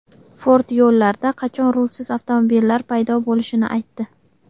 Ford yo‘llarda qachon rulsiz avtomobillar paydo bo‘lishini aytdi.